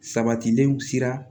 Sabatilenw sera